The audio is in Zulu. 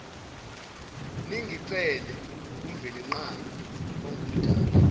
ningicelele kumvelinqangi ongumdali